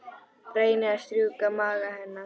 Reyni að strjúka maga hennar.